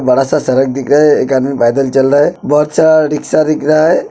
बड़ा सा सड़क दिख रहा है। एक आदमी पैदल चल रहा है। बहोत सा रिक्शा दिख रहा है।